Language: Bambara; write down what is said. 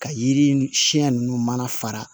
Ka yiri siɲɛ ninnu mana fara